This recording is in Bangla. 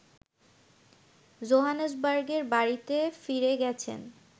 জোহানেসবার্গের বাড়ীতে ফিরে গেছেন